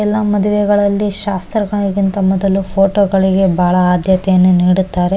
ಎಲ್ಲ ಮದುವೆಗಳಲ್ಲಿ ಶಾಸ್ತ್ರಗಳಿಗಿಂತ ಮೊದಲು ಫೋಟೋ ಗಳಿಗೆ ಬಹಳ ಆದ್ಯತೆಯನ್ನು ನೀಡುತ್ತಾರೆ --